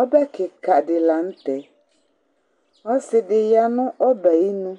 Ɔbɛ kɩka dilanutɛ Ɔsɩ dɩya nʊ ɔbɛ ayɩnʊ